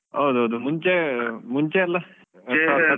ಹೌದು ಹೌದು. ಮುಂಚೆ ಮುಂಚೆಯೆಲ್ಲಾ